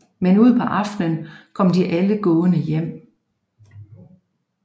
Men ud på aftenen kom de alle gående hjem